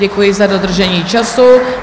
Děkuji za dodržení času.